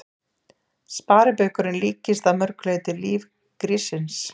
Sparibaukurinn líkist að mörg leyti lífi gríssins.